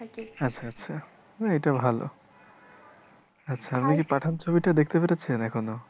আচ্ছা আচ্ছা না এটা ভালো পাঠান ছবিটা দেখতে পেরেছেন এখনো।